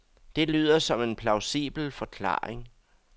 Det lyder som en plausibel forklaring.